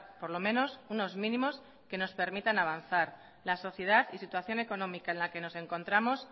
por lo menos unos mínimos que nos permitan avanzar la sociedad y situación económica en la que nos encontramos